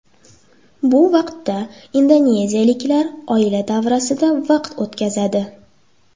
Bu vaqtda indoneziyaliklar oila davrasida vaqt o‘tkazadi.